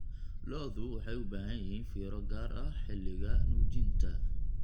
Lo'du waxay u baahan yihiin fiiro gaar ah xilliga nuujinta.